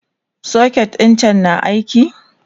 socket ɗin can na aiki?